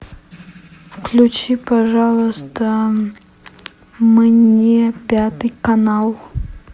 включи пожалуйста мне пятый канал